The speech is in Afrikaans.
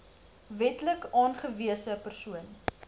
wetlik aangewese persoon